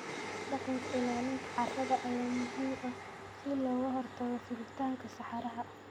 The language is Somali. Dhaqanka ilaalinta carrada ayaa muhiim ah si looga hortago fiditaanka saxaraha.